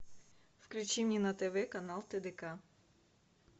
включи мне на тв канал тдк